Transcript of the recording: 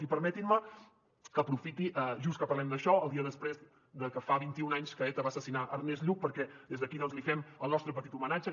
i permetin me que aprofiti just que parlem d’això el dia després que fa vint i un anys que eta va assassinar ernest lluch perquè des d’aquí doncs li fem el nostre petit homenatge